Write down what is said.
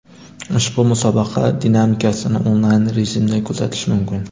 Ushbu musobaqa dinamikasini onlayn rejimda kuzatish mumkin.